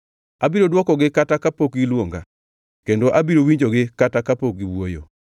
Abiro dwokogi kata kapok giluonga, kendo abiro winjogi kata kapok giwuoyo.